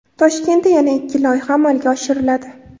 Toshkentda yana ikki loyiha amalga oshiriladi.